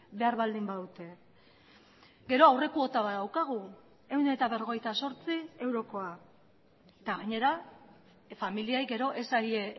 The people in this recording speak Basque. behar baldin badute gero aurrekuota bat daukagu ehun eta berrogeita zortzi eurokoa eta gainera familiei gero ez zaie